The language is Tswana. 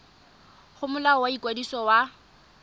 go molao wa ikwadiso wa